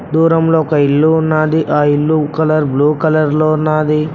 దూరంలో ఒక ఇల్లు ఉన్నాది ఆ ఇల్లు కలర్ బ్లూ కలర్ లో ఉన్నాది.